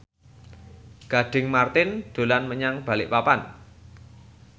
Gading Marten dolan menyang Balikpapan